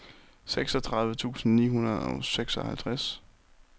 seksogtredive tusind ni hundrede og seksoghalvtreds